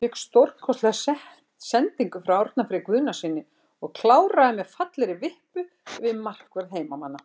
Fékk stórkostlega sendingu frá Árna Frey Guðnasyni og kláraði með fallegri vippu yfir markvörð heimamanna.